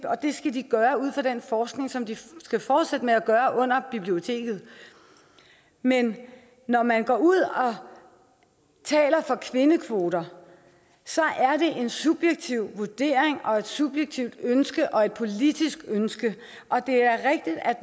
skal de gøre ud fra den forskning som de skal fortsætte med at gøre under biblioteket men når man går ud og taler for kvindekvoter er det en subjektiv vurdering og et subjektivt ønske og et politisk ønske og det er rigtigt at